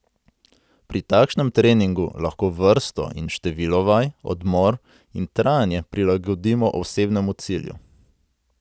Pri takšnem treningu lahko vrsto in število vaj, odmor in trajanje prilagodimo osebnemu cilju.